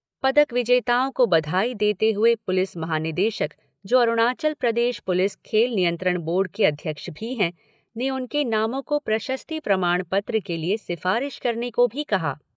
पदक विजेताओं को बधाई देते हुए पुलिस महा निदेशक जो अरुणाचल प्रदेश पुलिस खेल नियंत्रण बोर्ड के अध्यक्ष भी है, ने उनके नामों को प्रशस्ति प्रमाण पत्र के लिए सिफारिश करने को भी कहा।